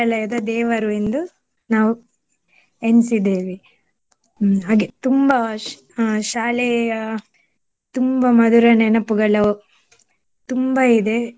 ದೇವರು ಎಂದು ನಾವು ಎಣ್ಸಿದ್ದೇವೆ ಹ್ಮ್ ಹಾಗೆ ತುಂಬಾ ಶ್~ ಅಹ್ ಶಾಲೆಯ ತುಂಬಾ ಮಧುರ ನೆನಪುಗಳು ತುಂಬಾ ಇದೆ